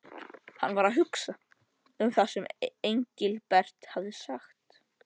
Hann var að hugsa um það sem Engilbert hafði sagt.